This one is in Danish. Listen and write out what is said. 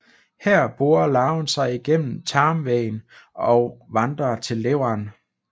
Her borer larven sig gennem tarmvæggen og vandrer til leveren